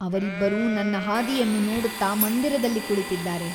ಅವರಿಬ್ಬರೂ ನನ್ನ ಹಾದಿಯನ್ನು ನೋಡುತ್ತ ಮಂದಿರದಲ್ಲಿ ಕುಳಿತಿದ್ದಾರೆ.